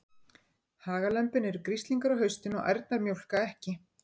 Hagalömbin eru grislingar á haustin og ærnar mjólka ekki.